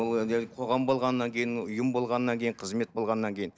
қоғам болғаннан кейін ұйым болғаннан кейін қызмет болғаннан кейін